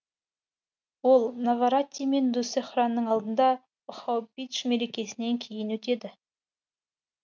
ол наваратри мен дуссехраның алдында бхаубидж мерекесінен кейін өтеді